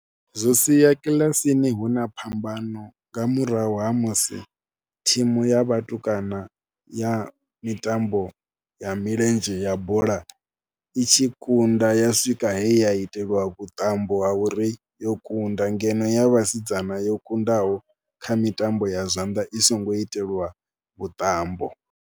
Zwo sia kilasini hu na phambano nga murahu ha musi thimu ya vhatukana ya mitambo ya milenzhe ya bola i tshi kunda ya swika he ya itelwa vhuṱambo ha uri yo kunda ngeno ya vhasidzana yo kundaho kha mitambo ya zwanḓa i songo itelwa vhuṱambo.